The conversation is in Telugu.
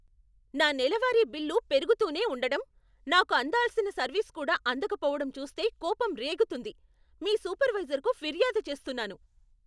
నా నెలవారీ బిల్లు పెరుగుతూనే ఉండటం, నాకు అందాల్సిన సర్వీస్ కూడా అందకపోవడం చూస్తే కోపం రేగుతుంది. మీ సూపర్వైజర్కు ఫిర్యాదు చేస్తున్నాను.